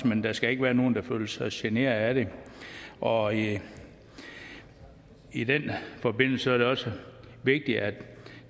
men der skal ikke være nogen der føler sig generet af det og i i den forbindelse er det også vigtigt at